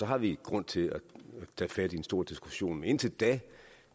har vi grund til at tage fat i en stor diskussion men indtil da